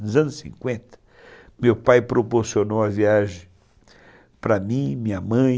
Nos anos cinquenta, meu pai proporcionou a viagem para mim, minha mãe...